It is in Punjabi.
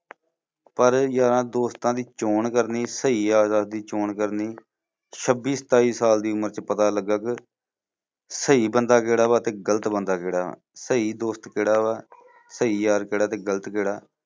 ਪਰ ਯਾਰਾਂ ਦੋਸਤਾਂ ਦੀ ਚੋਣ ਕਰਨੀ ਸਹੀ ਯਾਰਾਂ ਦੀ ਚੋਣ ਕਰਨੀ ਛੱਬੀ ਸਤਾਈ ਸਾਲ ਦੀ ਉਮਰ ਚ ਪਤਾ ਲੱਗਾ ਫਿਰ ਸਹੀ ਬੰਦਾ ਕਿਹੜਾ ਵਾ ਤੇ ਗਲਤ ਬੰਦਾ ਕਿਹੜਾ ਵਾ ਸਹੀ ਦੋਸਤ ਕਿਹੜਾ ਵਾ ਸਹੀ ਯਾਰ ਕਿਹੜਾ ਤੇ ਗਲਤ ਕਿਹੜਾ।